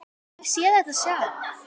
Ég hef séð þetta sjálf.